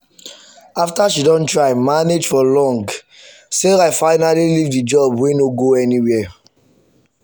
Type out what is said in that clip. after she don try manage for long sarah finally leave the job wey no go anywhere.